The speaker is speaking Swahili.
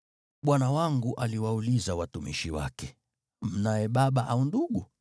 Bwana wangu aliwauliza watumishi wake, ‘Mnaye baba au ndugu?’